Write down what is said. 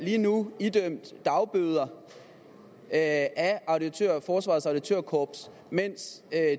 lige nu idømt dagbøder af forsvarets auditørkorps mens